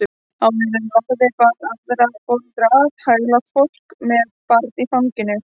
Áður en varði bar aðra foreldra að, hæglátt fólk með barn í fanginu.